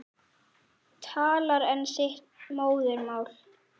Talar enn sitt móðurmál.